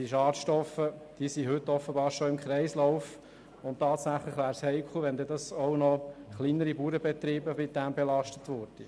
Die Schadstoffe befinden sich offenbar heute bereits im Kreislauf, und es wäre tatsächlich heikel, wenn dann auch noch kleinere Bauernbetriebe damit belastet würden.